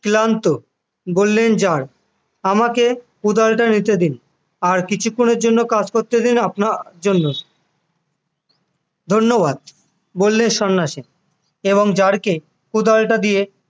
ক্লান্ত বললেন জার আমাকে উদারতা নিতে দিন আর কিছুক্ষণের জন্য কাজ করতে দিন আপনার জন্য ধন্যবাদ বললেন সন্ন্যাসী এবং জারকে উদারতা দিয়ে